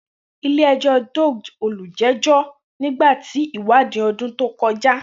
Ile-ẹjọ docked olujejo nigba ti iwadii odun to koja.